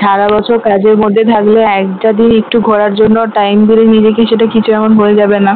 সারা বছর কাজের মধ্যে থাকলে একটা দিন একটু ঘোরার জন্য time দিলে নিজেকে সেটা বোঝা যাবেনা